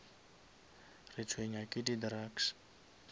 retshwenya ke di drugs